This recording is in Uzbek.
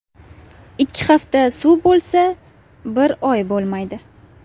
Ikki hafta suv bo‘lsa, bir oy bo‘lmaydi.